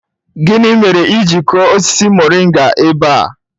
Gini mere i ji kuo osisi moringa ebe a?